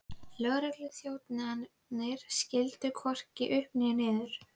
Lögregluþjónarnir skildu hvorki upp né niður.